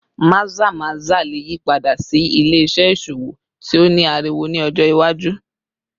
Maza-maza le yipada si ile-iṣẹ iṣowo ti o ni ariwo ni ọjọ iwaju